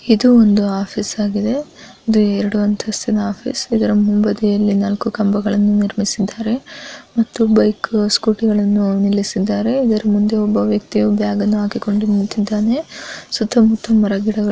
ಇದು ಒಂದು ಆಫೀಸ ಆಗಿದೆ ಇದು ಎರಡು ಅಂತಸ್ಥಿನ ಆಫೀಸ ಇದರ ಮುಂಬದಿಯಲ್ಲಿ ನಾಲ್ಕು ಕಂಬಗಳನ್ನು ನಿರ್ಮಿಸಿದ್ದಾರೆ ಮತ್ತು ಬೈಕ ಸ್ಕೂಟಿ ಗಳನ್ನ ನಿಲ್ಲಿಸಿದ್ದಾರೆ ಇದರ ಮುಂದೆ ಒಬ್ಬ ವ್ಯಕ್ತಿಯು ಬ್ಯಾಗ ನ್ನು ಹಾಕಿಕೊಂಡು ನಿಂತಿದ್ದಾನೆ ಸುತ್ತಮುತ್ತಲು ಮರಗಳು ಗಿಡಗಳ --